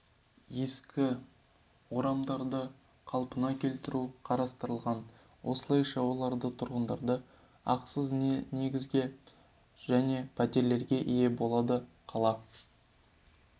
ескі орамдарды қалпына келтіру қарастырылған осылайша елорда тұрғындары ақысыз негізде жаңа пәтерлерге ие болады қала